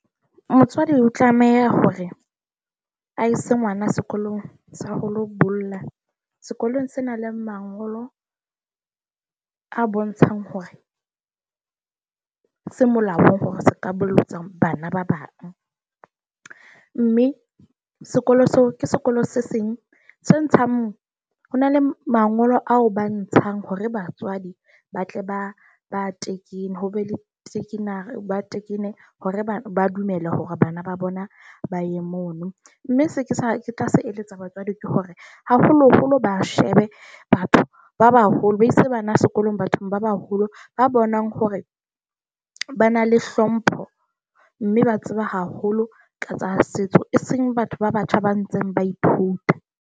Motswadi o tlameha hore a ise ngwana sekolong sa ho lo bolla. Sekolong senang le mangolo a bontshang hore se molaong hore se ka bolotsa bana ba bang. Mme sekolo seo ke sekolo se seng se ntshang, ho na le mangolo ao ba ntshang hore batswadi ba tle ba ba tekene ho be le seke nare ba tekenne hore ba dumele hore bana ba bona ba ye mono. Mme se ke sa ke tla se eletsa batswadi ke hore, haholoholo ba shebe ba batho ba baholo, ba ise bana sekolong, bathong ba baholo, ba bonang hore ba na le hlompho, mme ba tseba haholo ka tsa setso, e seng batho ba batjha ba ntseng ba ithuta.